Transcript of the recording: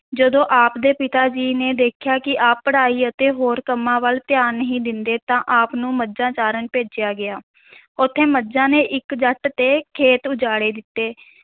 ਜਦੋਂ ਆਪ ਦੇ ਪਿਤਾ ਜੀ ਨੇ ਦੇਖਿਆ ਕਿ ਆਪ ਪੜ੍ਹਾਈ ਅਤੇ ਹੋਰ ਕੰਮਾਂ ਵੱਲ ਧਿਆਨ ਨਹੀਂ ਦਿੰਦੇ ਤਾਂ ਆਪ ਨੂੰ ਮੱਝਾਂ ਚਾਰਨ ਭੇਜਿਆ ਗਿਆ ਉੱਥੇ ਮੱਝਾਂ ਨੇ ਇੱਕ ਜੱਟ ਤੇ ਖੇਤ ਉਜਾੜੇ ਦਿੱਤੇ।